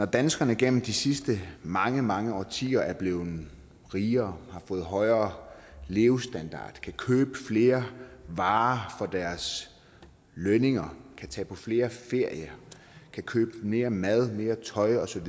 danskerne gennem de sidste mange mange årtier er blevet rigere og har fået højere levestandard og kan købe flere varer for deres lønninger kan tage på flere ferier kan købe mere mad mere tøj osv og